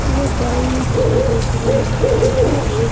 hello guys तो देख रहे हैं आप यह एक--